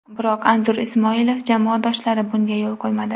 Biroq Anzur Ismoilov jamoadoshlari bunga yo‘l qo‘ymadi.